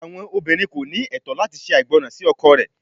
Awọn obinrin ko ni ẹtọ lati ṣe aigbọran si ọkọ rẹ